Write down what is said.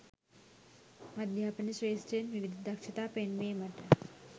අධ්‍යාපන ක්‍ෂේත්‍රයෙන් විවිධ දක්ෂතා පෙන්වීමට